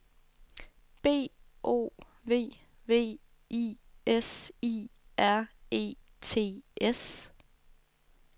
B O V V I S I R E T S